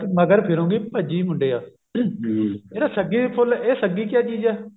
ਮਗਰ ਫਿਰੁਂਗੀ ਭੱਜੀ ਮੁੰਡਿਆ ਜਿਹੜਾ ਸੱਗੀ ਫੁੱਲ ਇਹ ਸੱਗੀ ਕਿਆ ਚੀਜ਼ ਹੈ